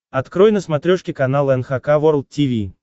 открой на смотрешке канал эн эйч кей волд ти ви